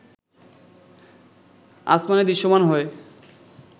আসমানে দৃশ্যমান হয়